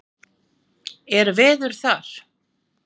Er veður þar?